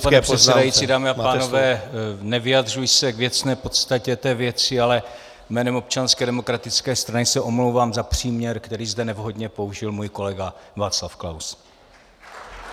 Vážený pane předsedající, dámy a pánové, nevyjadřuji se k věcné podstatě té věci, ale jménem Občanské demokratické strany se omlouvám za příměr, který zde nevhodně použil můj kolega Václav Klaus.